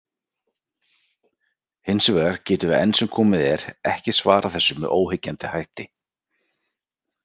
Hins vegar getum við enn sem komið er ekki svarað þessu með óyggjandi hætti.